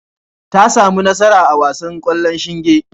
Ta sami nasara a wasan ƙwallon shinge.